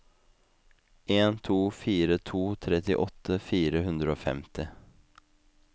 en to fire to trettiåtte fire hundre og femti